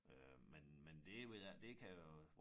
Øh men men det ved jeg ikke det kan øh